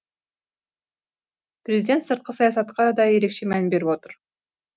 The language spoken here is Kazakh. президент сыртқы саясатқа да ерекше мән беріп отыр